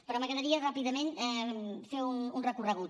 però m’agradaria ràpidament fer un recorregut